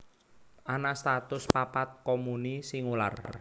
Ana satus papat komuni singular